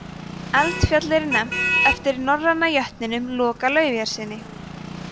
eldfjallið er nefnt eftir norræna jötninum loka laufeyjarsyni